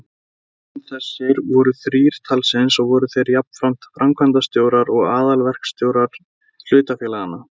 Stjórnarmenn þessir voru þrír talsins og voru þeir jafnframt framkvæmdastjórar og aðalverkstjórar hlutafélaganna.